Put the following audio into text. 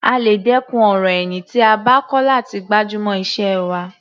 A lè dẹ́kun ọ̀rọ̀ ẹ̀yìn tí a bá kọ́ láti gbájúmọ́ iṣẹ́ wa.